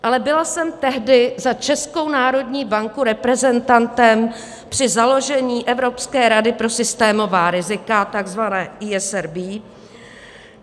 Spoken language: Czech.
Ale byla jsem tehdy za Českou národní banku reprezentantem při založení Evropské rady pro systémová rizika, tzv. ESRB.